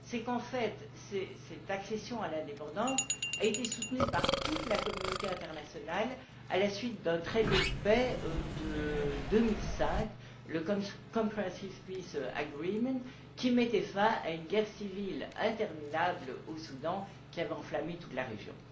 En réalité, cette accession à l'indépendance a été soutenue par toute la communauté internationale à la suite d'un traité de paix de 2005, le Comprehensive peace agreement qui mettait fin à une guerre civile interminable au Soudan, qui avait enflammé toute la région.